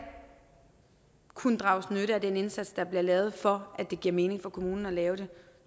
kunne drages nytte af den indsats der bliver lavet for at det giver mening for kommunen at lave den